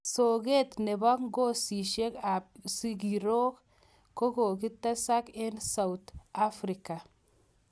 Soket nepo nepo. ngosishek ap.sigiroik kokikotesak eng Soutj Afrika